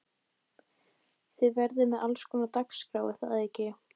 Þið verðið með allskonar dagskrá er það ekki?